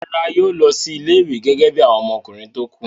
Rárá, yóò lọ sí ilé-ìwé gẹ́gẹ́ bí àwọn ọmọkùnrin tó kù.